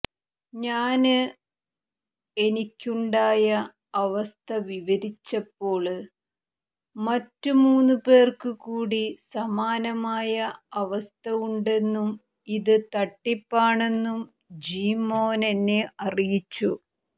ഞാന് എനിക്കുണ്ടായ അവസ്ഥ വിവരിച്ചപ്പോള് മറ്റു മൂന്നുപേര്ക്ക് കൂടി സമാനമായ അവസ്ഥ ഉണ്ടെന്നും ഇത് തട്ടിപ്പാണെന്നും ജീമോന് എന്നെ അറിയിച്ചു